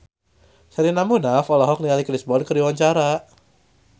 Sherina Munaf olohok ningali Chris Brown keur diwawancara